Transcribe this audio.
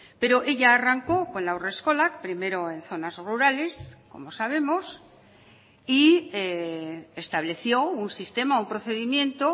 pero ella arrancó con la haurreskolak primero en zonas rurales como sabemos y estableció un sistema un procedimiento